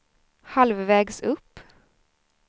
halvvägs upp